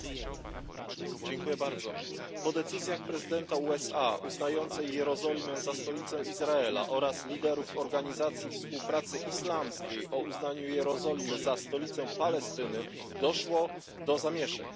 Pani Przewodnicząca! Po decyzji prezydenta USA uznającej Jerozolimę za stolicą Izraela oraz liderów Organizacji Współpracy Islamskiej o uznaniu Jerozolimy za stolicę Palestyny doszło do zamieszek, zginęli ludzie.